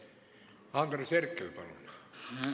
Andres Herkel, palun!